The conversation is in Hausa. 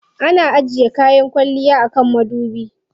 Ana ajiye kayan kwalliya a kan madubi.